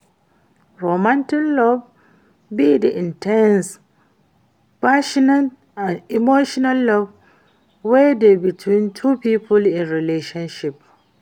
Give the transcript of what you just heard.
Romantic love be di in ten se, passionate and emotional love wey dey between two people in relationship.